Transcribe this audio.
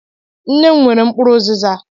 Nne m nwere mkpụrụ ụzịza.